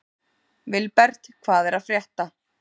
Vilbert, hvað er að frétta?